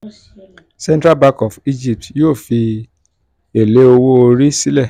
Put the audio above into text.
central bank of egypt yóò fi èlé owó orí sílẹ̀